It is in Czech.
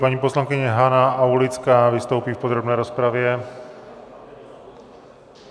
Paní poslankyně Hana Aulická vystoupí v podrobné rozpravě.